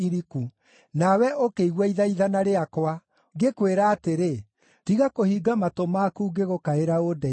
Na we ũkĩigua ithaithana rĩakwa, ngĩkwĩra atĩrĩ, “Tiga kũhinga matũ maku ngĩgũkaĩra ũndeithie.”